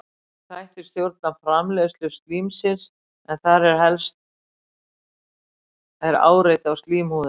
Ýmsir þættir stjórna framleiðslu slímsins en þar helst er áreiti á slímhúðina.